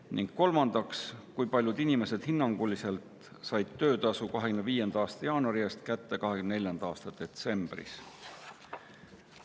Ning kolmandaks, kui paljud inimesed hinnanguliselt said töötasu 2025. aasta jaanuari eest kätte 2024. aasta detsembris?